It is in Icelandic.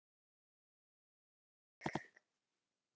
á Mörk.